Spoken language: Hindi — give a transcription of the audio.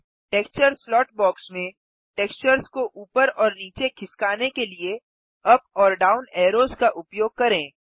टेक्सचर स्लॉट बॉक्स में टेक्सचर्स को ऊपर और नीचे खिसकाने के लिए अप और डाउन एरोस का उपयोग करें